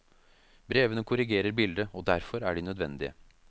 Brevene korrigerer bildet, og derfor er de nødvendige.